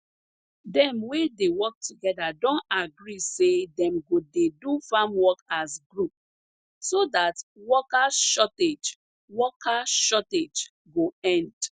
dem wey dey work together don agree say dem go dey do farm work as group so dat worker shortage worker shortage go end